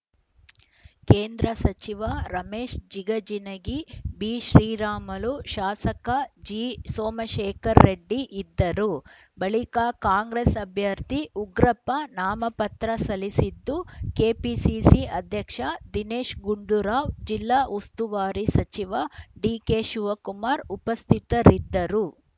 ಕೇಂದ್ರ ಸಚಿವ ರಮೇಶ ಜಿಗಜಿಣಗಿ ಬಿಶ್ರೀರಾಮಲು ಶಾಸಕ ಜಿಸೋಮಶೇಖರ ರೆಡ್ಡಿ ಇದ್ದರು ಬಳಿಕ ಕಾಂಗ್ರೆಸ್‌ ಅಭ್ಯರ್ಥಿ ಉಗ್ರಪ್ಪ ನಾಮಪತ್ರ ಸಲ್ಲಿಸಿದ್ದು ಕೆಪಿಸಿಸಿ ಅಧ್ಯಕ್ಷ ದಿನೇಶ್‌ ಗುಂಡೂರಾವ್‌ ಜಿಲ್ಲಾ ಉಸ್ತುವಾರಿ ಸಚಿವ ಡಿಕೆಶಿವಕುಮಾರ್‌ ಉಪಸ್ಥಿತರಿದ್ದರು